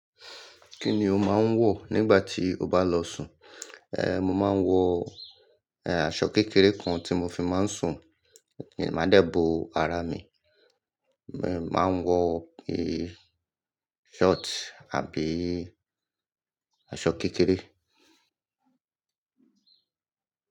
Kí ni o máa ń wọ̀ nígbà tí o bá n lọ sùn? Mo máa ń wọ aṣọ kékeré kan tí mo fi máa ń sùn, maa dẹ bo ara mi. Máa ń wọ ṣọ́ọ̀tì àbí aṣọ kékeré.